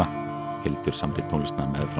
Hildur samdi tónlistina meðfram